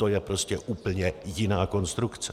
To je prostě úplně jiná konstrukce.